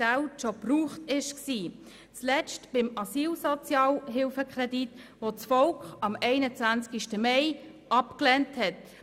Zuletzt geschah das beim Asylsozialhilfekredit, den das Volk am 21. Mai abgelehnt hat.